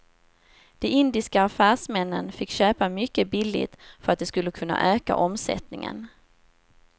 De indiska affärsmännen fick köpa mycket billigt för att de skulle kunna öka omsättningen.